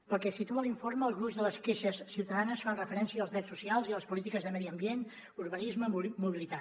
pel que situa l’informe el gruix de les queixes ciutadanes fan referència als drets socials i a les polítiques de medi ambient urbanisme i mobilitat